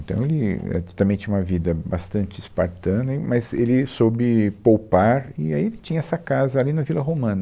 Então, Ele é também tinha uma vida bastante espartana, e mas ele soube poupar e aí ele tinha essa casa ali na Vila Romana.